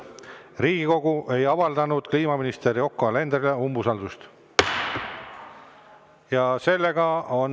Riigikogu ei avaldanud kliimaminister Yoko Alenderile umbusaldust.